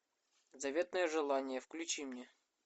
заветное желание включи мне